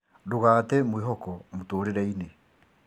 Ndũgate mwĩhoko mũtũũrĩre-inĩ